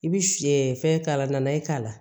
I bi fɛn k'a la nan ye k'a la